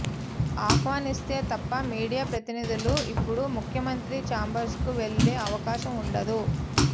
ఆహ్వానిస్తే తప్ప మీడియా ప్రతినిధులు ఇప్పుడు ముఖ్యమంత్రి చేంబర్స్కు వెళ్లే అవకాశం ఉండదు